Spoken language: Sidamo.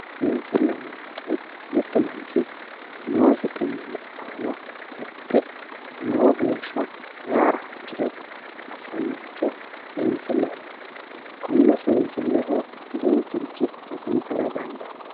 seensilleho yinannihu mittu manchi noosi xumilli aana lexxe lowo geeshsha seyaara hasiriro assannoricho seensilleho yinanni konne seensilleho duuchurichi hasiisara dandaanno.